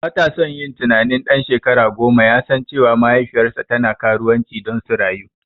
Batason yin tunanin ɗan shekara goma yasan cewa mahaifiyarsa tana karuwanci don su rayu.